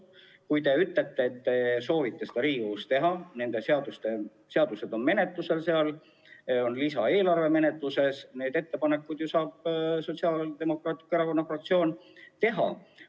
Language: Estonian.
Kui te ütlete, et soovite selle Riigikogule esitada, siis asjakohased seadused, sh lisaeelarve, on menetluses ning Sotsiaaldemokraatliku Erakonna fraktsioon saab oma ettepanekud teha.